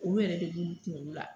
O yɛrɛ de b'ulu kungolo la.